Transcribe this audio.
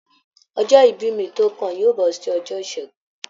Ọjọ́ ìbí mí to kàn yóò bọ sí ọjọ́ ìṣẹgun.